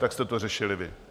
Tak jste to řešili vy.